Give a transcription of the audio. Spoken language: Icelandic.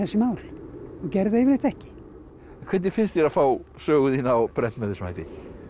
mál og gerði yfirleitt ekki en hvernig finnst þér að fá sögu þína á prent með þessum hætti